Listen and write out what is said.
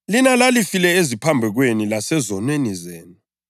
Lina lalifile eziphambekweni lasezonweni zenu,